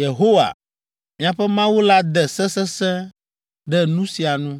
Yehowa, miaƒe Mawu la de se sesẽ ɖe nu sia nu.